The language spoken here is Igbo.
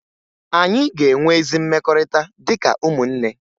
Anyị ga-enwe ezi mmekọrịta dịka ụmụnne